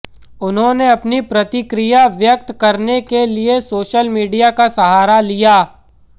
उन्होंने अपनी प्रतिक्रिया व्यक्त करने के लिए सोशल मीडिया का सहारा लिया